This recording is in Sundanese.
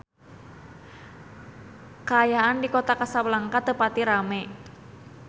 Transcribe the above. Kaayaan di Kota Kasablanka teu pati rame